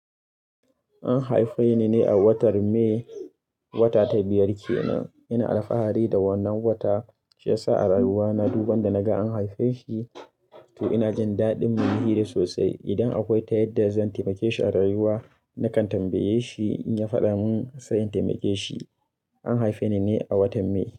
An haife ni ne a watan May. Wata ta biyar ke nan. Ina alfahari da wannan watan, shi ya sa a rayuwa na duban da naga an haife shi, to ina jin daɗin munihi da sosai. Idan akwai tayadda zan taimake shi a rayuwa, nakan tambaye shi in ya faɗa mun sayin taimake shi. An haife ni ne a watan May.